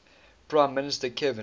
prime minister kevin